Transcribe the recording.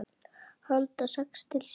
Handa sex til sjö